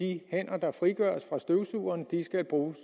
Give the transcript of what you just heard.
de hænder frigøres fra støvsugeren skal bruges